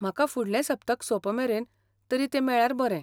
म्हाका फुडलें सप्तक सोंपमेरेन तरी तें मेळ्ळ्यार बरें.